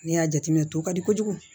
Ne y'a jateminɛ to ka di kojugu